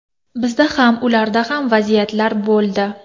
Bizda ham, ularda ham vaziyatlar bo‘ldi.